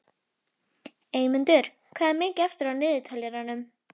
Eymundur, hvað er mikið eftir af niðurteljaranum?